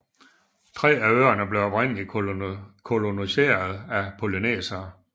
Tre af øerne blev oprindeligt koloniseret af polynesiere